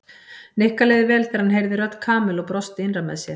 Nikka leið vel þegar hann heyrði rödd Kamillu og brosti innra með sér.